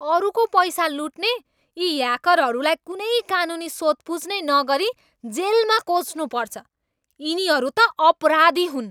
अरूको पैसा लुट्ने यी ह्याकरहरूलाई कुनै कानुनी सोधपुछ नै नगरी जेलमा कोच्नुपर्छ। यिनीहरू त अपराधी हुन्!